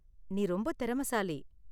நீ ரொம்ப திறமைசாலி.